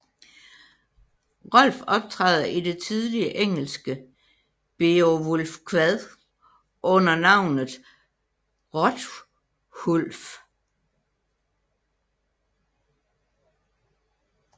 Rolf optræder i det tidlige engelske Beowulfkvad under navnet Hrothulf